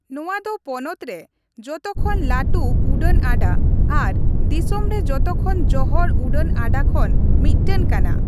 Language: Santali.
ᱱᱚᱣᱟ ᱫᱚ ᱯᱚᱱᱚᱛ ᱨᱮ ᱡᱚᱛᱚᱠᱷᱚᱱ ᱞᱟᱹᱴᱩ ᱩᱰᱟᱹᱱ ᱟᱰᱟ ᱟᱨ ᱫᱤᱥᱚᱢ ᱨᱮ ᱡᱚᱛᱚᱠᱷᱚᱱ ᱡᱚᱦᱚᱲ ᱩᱰᱟᱹᱱ ᱟᱰᱟ ᱠᱷᱚᱱ ᱢᱤᱫᱴᱟᱝ ᱠᱟᱱᱟ ᱾